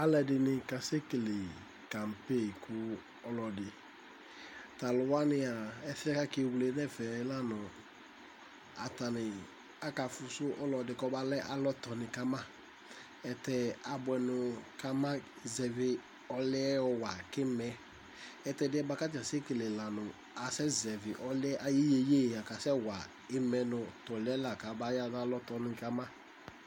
Alɛdini ka sɛkélé kanpé ku ɔlɔdi taluwania ɛsɛ aké wlé nɛfɛl lanu atani akafusu ɔlɔdi kɔbalɛ alɔ tɔni ka ma ɛtɛ abuɛ nu ka ma zɛvi ɔluɛ wɔwa ki mɛ ɛtɛ diɛ ka ta sékélé la nu asɛzɛvi ɔluyɛ ayu yéyé ya kasɛ wa imɛ nu tɔluɛ lă kabaya na alɔ tɔnu kama